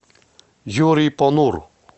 юрий понуро